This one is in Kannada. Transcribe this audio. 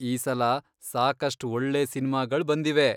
ಈ ಸಲ ಸಾಕಷ್ಟ್ ಒಳ್ಳೇ ಸಿನ್ಮಾಗಳ್ ಬಂದಿವೆ.